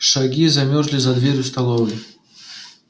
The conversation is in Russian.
шаги замерли за дверью столовой